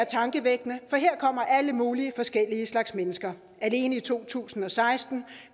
tankevækkende for her kommer alle mulige forskellige slags mennesker alene i to tusind og seksten